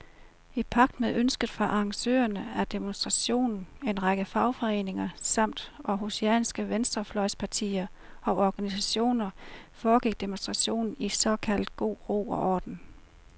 I pagt med ønsket fra arrangørerne af demonstrationen, en række fagforeninger samt århusianske venstrefløjspartier og organisationer, foregik demonstrationen i såkaldt god ro og orden.